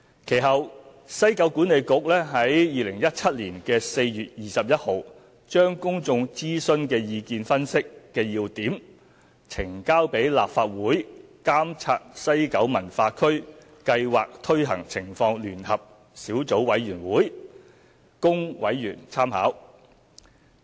其後，西九管理局於2017年4月21日將公眾諮詢的意見分析要點呈交立法會監察西九文化區計劃推行情況聯合小組委員會供委員參考。